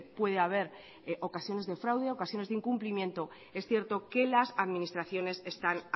puede haber ocasiones de fraude ocasiones de incumplimiento es cierto que las administraciones están